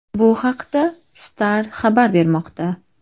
Bu haqda Star xabar bermoqda .